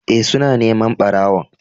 Ee, suna neman ɓarawon.